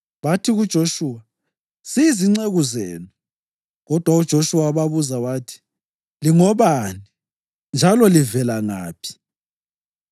Bathi kuJoshuwa “Siyizinceku zenu.” Kodwa uJoshuwa wababuza wathi, “Lingobani njalo livela ngaphi?”